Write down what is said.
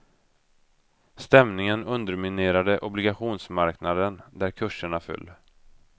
Stämningen underminerade obligationsmarknaden där kurserna föll.